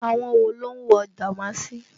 Àwọn wo ló ń wo dàmáàsì?